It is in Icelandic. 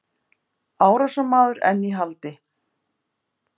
Árásarmaður enn í haldi